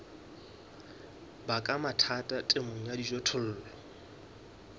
baka mathata temong ya dijothollo